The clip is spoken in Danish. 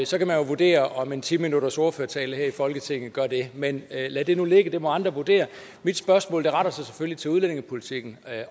så kan man jo vurdere om en ti minuttersordførertale her i folketinget gør det men lad det nu ligge det må andre vurdere mit spørgsmål retter sig selvfølgelig til udlændingepolitikken